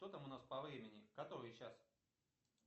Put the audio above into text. что там у нас по времени который час